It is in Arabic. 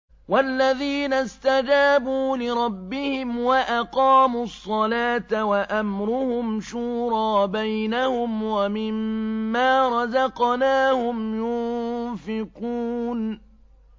وَالَّذِينَ اسْتَجَابُوا لِرَبِّهِمْ وَأَقَامُوا الصَّلَاةَ وَأَمْرُهُمْ شُورَىٰ بَيْنَهُمْ وَمِمَّا رَزَقْنَاهُمْ يُنفِقُونَ